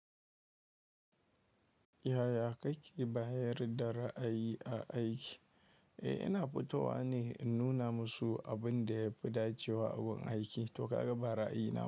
Yaya kake bayar da ra'ayi a aiki? Eh, ina fitowa ne in nuna musu abin da ya fi dacewa a gun aiki, toh ka ga bara ra'ayina.